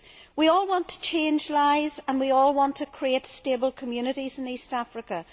We all want to change lives and we all want to create stable communities in East Africa.